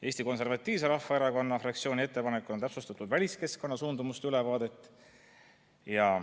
Eesti Konservatiivse Rahvaerakonna fraktsiooni ettepanekul on täpsustatud väliskeskkonna suundumuste ülevaadet.